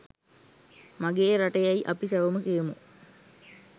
මගේ රට" යැයි අපි සැවොම කියමු.